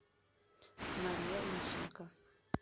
мария лущенко